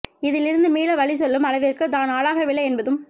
இதில் இருந்து மீள வழி சொல்லும் அளவிற்கு தான் ஆளாகவில்லை என்பதும்